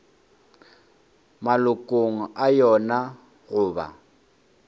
malokong a yona go ba